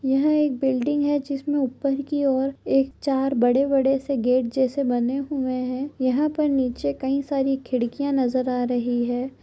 यह एक बिल्डिंग है जिसमे ऊपर की ओर एक चार बड़े- बड़े से गेट जैसे बने हुए है यहा पर नीचे कई सारी खिड़कियाँ नज़र आ रही है।